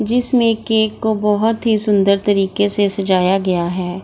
जिसमें केक को बहोत ही सुंदर तरीके से सजाया गया है।